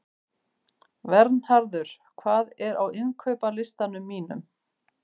Vernharður, hvað er á innkaupalistanum mínum?